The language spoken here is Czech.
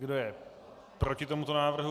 Kdo je proti tomuto návrhu?